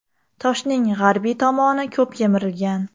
Toshning g‘arbiy tomoni ko‘p yemirilgan.